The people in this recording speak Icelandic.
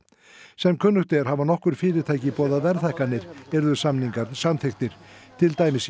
sem kunnugt er hafa nokkur fyrirtæki boðað verðhækkanir yrðu samningar samþykktir til dæmis